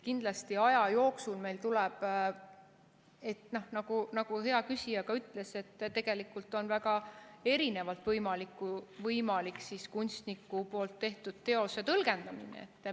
Kindlasti aja jooksul, nagu hea küsija ka ütles, on võimalik kunstniku tehtud teost väga erinevalt tõlgendada.